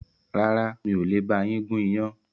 Rárá, mi ò le ba yín gún iyán